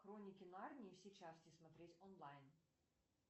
хроники нарнии все части смотреть онлайн